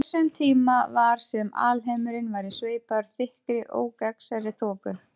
Á þessum tíma var sem alheimurinn væri sveipaður þykkri ógagnsærri þoku.